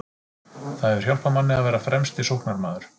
Það hefur hjálpað manni að vera fremsti sóknarmaður.